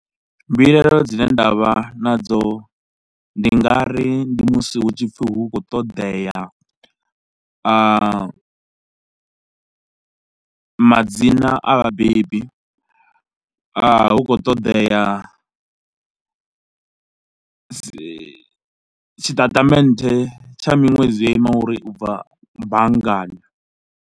Mbilaelo dzine nda vha nadzo ndi nga ri ndi musi hu tshi pfhi hu khou ṱoḓea madzina a vhabebi, hu khou ṱoḓea si tshitatamennde tsha miṅwedzi yo ima ngori u bva banngani.